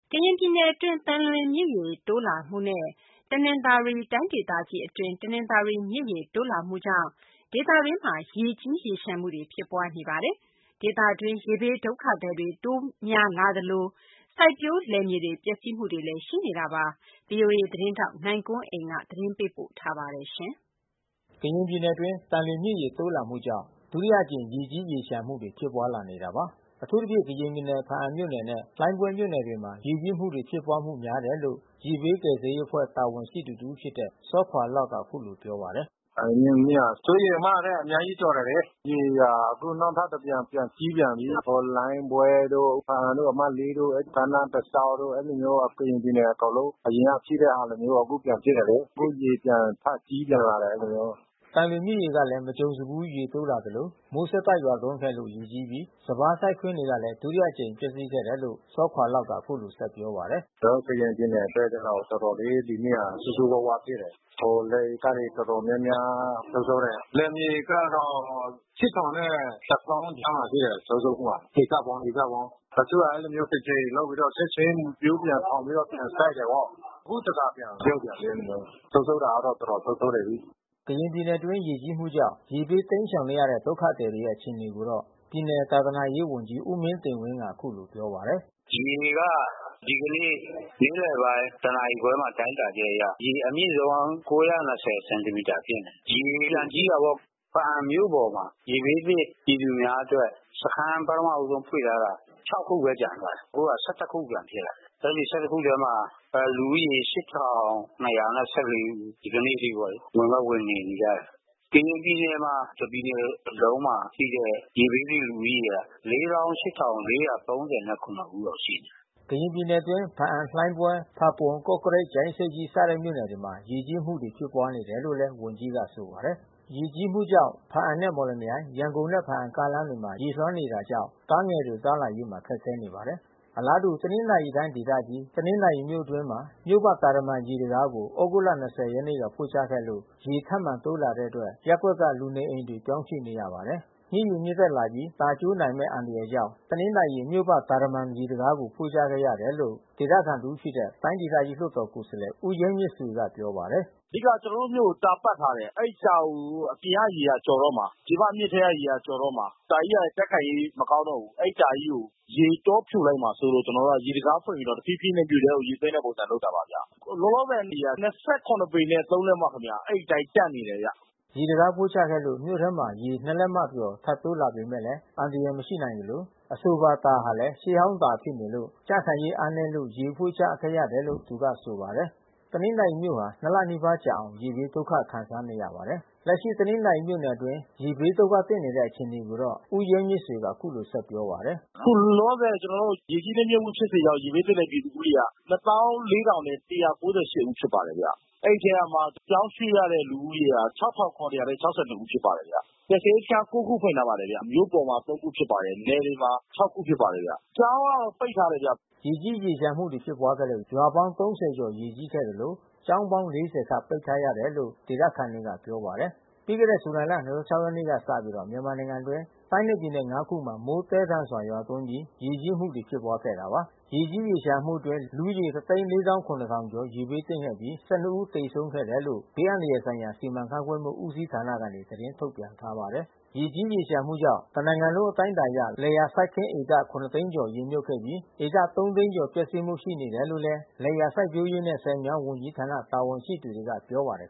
ကရင်ပြည်နယ်အတွင်းသံလွင်မြစ်ရေတိုးလာမှုနဲ့ တနင်္သာရီတိုင်းဒေသကြီးအတွင်းတနင်္သာရီမြစ်ရေ တိုးလာမှု ကြောင့် ဒေသအတွင်းမှာရေကြီးမှုတွေဖြစ်ပွါးနေတာပါ။ ဒေသအတွင်းရေဘေးဒုက္ခသည်တွေတိုးပွါးလာနေသလို စိုက်ပျိုးလယ်မြေတွေပျက်စီးမှုတွေလဲရှိနေပါတယ်။ ဗွီအိုအေသတင်းထောက်နိုင်ကွန်းအိန်ကနေသတင်းပေးပို့ ထားပါတယ်။ ကရင်ပြည်နယ်အတွင်း သံလွင်မြစ်ရေတိုးလာမှုကြောင့် ဒုတိယအကြိမ်ရေကြီးရေလျှံမှုတွေဖြစ်ပွါးလာနေတာပါ။ အထူးသဖြင့်ကရင်ပြည်နယ် ဖါးအံမြို့နယ်နဲ့လှိုင်းပွဲမြို့နယ်တွေမှာ ရေကြီးမှုတွေဖြစ်ပွါးမှုများတယ်လို့ ရေဘေး ကယ်ဆယ်ရေးအဖွဲ့တာဝန်ရှိသူတဦးဖြစ်တဲ့ စောခွါ့လောက်က အခုလိုပြောပါတယ်။ 'သံလွင်မြစ်က စိုးရိမ်အမှတ်ထက်အများကြီးကျော်တယ်လေ။ ရေကအခုနောက်ထပ်တဖန်ပြန်ကြီးပြန်ပြီး။ လှိုင်းပွဲ တို့ ဖါးအံတို့အမှတ် တို့ ကမ်းနားတလျောက်တို့ အဲဒီလိုမျိုး ကရင်ပြည်နယ်အကုန်လုံး အရင်ကရှိတဲ့ဟာလိုမျိုး အခုပြန်ဖြစ်တယ်လ။ အခုရေပြန်ထကြီးလာပြန်တယ်အဲဒီလိုမျိုး။" သံလွင်မြစ်ရေကလဲမကြုံစဘူးရေတိုးလာသလို မိုးဆက်တိုက်ရွာသွန်းခဲ့လို့ ရေကြီးပြီး စပါးစိုက်ခင်းတွေကလဲ ဒုတိယအကြိမ်ပျက်စီးခဲ့တယ်လို့ စောခွါ့လောက်က အခုလိုဆက်ပြောပါတယ်။ "ကျွန်တော်တို့ကရင်ပြည်နယ်အတွက်ကျတော့ တော်တော်လေး ဒီနှစ်ဟာဆိုးဆိုးဝါးဝါးဖြစ်တယ်။ လယ်ဧကတွေ တော်တော်များများဆုံးရှုံးတယ်။ လယ်မြေဧကကတော့ နဲ့တသောင်းကြားမှာရှိတယ်ဆုံးရှုံးမှုက ဧကပေါင်း။ တချို့ကတကြိမ်လုပ်မြုတ်ပြီးတော့ချက်ချင်းမျိုးပြန်ထောင်ပြီးတော့ပြန်စိုက်တာပေါ့။ အခုတဖန်ပြန်မြုတ်ပြန်ပြီး အဲဒီ လိုမျိုး။ ဆုံးရှုံးတာတော့တော်တော်ဆုံးရှုံးနေပြီး။" ကရင်ပြည်နယ်အတွင်းရေကြီးမှုကြောင့် ရေဘေးတိမ်းရှောင်နေရတဲ့ဒုက္ခသည်တွေရဲ့အခြေအနေကိုတော့ ပြည်နယ်သာသနာရေးဝန်ကြီး ဦးမင်းတင်ဝင်းကအခုလိုပြောပါတယ်။ "ရေက ဒီကနေ့နေ့လယ်ပိုင်းတနာရီခွဲတိုင်းတာချက်အရ ရေအမြင့်ဆုံး စင်တီမိတာဖြစ်နေတယ်။ ရေပြန်ကြီး တာပေါ့။ ဘားအံမြို့ပေါ်မှာရေဘေးသင့်ပြည်သူများအတွက် စခမ်းပထမဦးဆုံးဖွင့်ထားတာ ခုဘဲကျန်တော့တာ။ အခုက ခုပြန်ဖြစ်နေတယ်။ အဲဒီ ထဲမှာ လူဦးရေ ဦး ဒီကနေ့အထိပေါ့လေ။ ဝင်တော့ဝင်နေပြီးသား။ ကရင်ပြည်နယ်မှာ တပြည်နယ်လုံးမှာရှိတဲ့ ရေဘေးသင့်လူဦးရေက ဦးလောက်ရှိတယ်။" ကရင်ပြည်နယ်အတွင်း ဘားအံ လှိုင်းပွဲ ဖါးပွန် ကော့ကရိတ် ကြာအင်းဆိပ်ကြီးစတဲ့မြို့နယ်တွေမှာ ရေကြီးမှုတွေ ဖြစ်ပွါးနေတယ်လို့ဝန်ကြီးကဆိုပါတယ်။ ရေကြီးမှုကြောင့် ဘားအံနဲ့မော်လမြိုင် ရန်ကုန်နဲ့ဘားအံကားလမ်းမှာရေလွှမ်းနေတာကြောင့် ကားငယ်တွေသွား လာရေး ခက်ခဲနေပါတယ်။ အလားတူ တနင်္သာရီတိုင်းဒေသကြီး တနင်္သာရီမြို့အတွင်းမှာ မြို့ပတ်တာတမံရေတံခါးကို သြဂုတ် ၂၀ ရက် က ဖွင့်ချခဲ့လို့ရေထပ်မံတိုးလာတဲ့အတွက် ရပ်ကွက်က လူနေအိမ်တွေကိုပြောင်းရွှေ့နေရပါတယ်။ မြစ်ရေမြင့်တက်လာပြီး တာကျိုးနိုင်မဲ့အန္တရာယ်ကြောင့် တနင်္သာရီမြို့ပတ်တာတမံရေတံခါးကို ဖွင့်ချခဲ့ရတယ်လို့ ဒေသခံတဦးဖြစ်တဲ့တိုင်းဒေသကြီးလွှတ်တော်ကိုယ်စားလှယ် ဦးရဲမြင့်ဆွေကပြောပါတယ်။ "အဓိကကျွန်တော်တို့မြို့ကိုတာပတ်ထားတယ်။ အဲဒီတာကိုအပြင်ကရေကျော်တော့မှာ။ ပြင်ပမြစ်ထဲကရေကျော် တော့မှာ။ တာကြီးကလဲကြံ့ခိုင်ရေးမကောင်းတော့ဘူး။ အဲဒီတာကြီးကိုရေကြောဖြိုလိုက်မှာစိုးလို့ ကျွန်တော်တို့က ရေတံခါးဖွင့်ပြီးတော့တဖြည်းဖြည်းနဲ့မြို့ထဲရေသွင်းတဲ့ပုံစံလုပ်တာပါဗျ။ လောလောဆယ်ရေက ပေနဲ့ လက် မ ခင်ဗျ။ အဲဒီအတိုင်းတန့်နေတယ်။" ရေတံခါးဖွင့်ချခဲ့လို့ မြို့ထဲမှာရေ ၂ လက်မကျော်ထပ်တိုး လာပေမဲ့အန္တရာယ်မရှိနိုင်သလို အဆိုပါတာဟာလဲ ရှေးဟောင်းတာဖြစ်နေလို့ ကြံ့ခိုင်ရေးအားနဲလို့ရေဖွင့်ချခဲ့တယ်လို့သူကဆိုပါတယ်။ တနင်္သာရီမြို့ဟာ၂ လနီးပါးကြာအောင် ရေဘေးဒုက္ခခံစားနေရပါတယ်။ လက်ရှိတနင်္သာရီမြို့နယ်အတွင်းရေဘေးဒုက္ခသင့်နေတဲ့အခြေအနေကိုတော့ ဦးရဲမြင့်ဆွေကအခုလိုဆက် ပြော ပါတယ်။ "ခုလောလောဆယ် ရေကြီးနစ်မြုတ်မှုဖြစ်စေကြောင့်ရေဘေးသင့်ပြည်သူဦးရေက ဦးဖြစ်ပါတယ်။ အဲဒီထဲ ကမှ ပြောင်းရွှေ့ရတဲ့လူဦးရေက ဦးဖြစ်ပါတယ်ခင်ဗျ။ ကယ်ဆယ်ရေးစခမ်း ခုဖွင့်ထားပါတယ်ခင်ဗျ။ မြို့ပေါ်မှာ ခုနယ်တွေမှာ ခုဖြစ်ပါတယ်ဗျ။ ကျောင်းကတော့ပိတ်ထားတယ်ဗျ။" ရေကြီးရေလျံှမှုဖြစ်ပွါးခဲ့လို့ရွာပေါင်း ကျော်ရေကြီးခဲ့သလို ကျောင်းပေါင်း ခန့်ပိတ်ထားရတယ်လို့ဒေသ ခံ တွေကပြောပါတယ်။ ပြီးခဲ့တဲ့ဇူလိုင်လ ရက်နေ့ကစပြီး မြန်မာနိုင်ငံအတွင်းတိုင်းနဲ့ပြည်နယ် ခုမှာ မိုးသဲထန်စွာရွာသွန်းပြီး ရေကြီးမှု တွေဖြစ်ပွါးခဲ့တာပါ။ ဒီရေကြီးရေလျှံမှုအတွင်း လူဦးရေ ကျော် ရေဘေးသင့်ခဲ့ပြီး ဦးသေဆုံးခဲ့တယ်လို့ ဘေး အန္တရာယ်ဆိုင်ရာ စီမံခန့်ခွဲမှုဦးစီးဌာနကနေ သတင်းထုတ်ပြန် ထားပါတယ်။ ရေကြီးရေလျှံမှုကြောင့် တနိုင်ငံလုံးအတိုင်းအတာအရ လယ်ယာစိုက်ခင်း ဧက သိန်းကျော် ရေမြုပ်ခဲ့ပြီး ဧက သိန်းကျော်ပျက်စီးမှုရှိနေတယ်လို့ လယ်ယာစိုက်ပျိုးရေးနဲ့ဆည်မြောင်းဝန်ကြီးဌာနတာဝန်ရှိသူတွေကပြော ပါတယ်